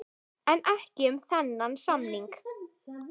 En ekki um þennan samning.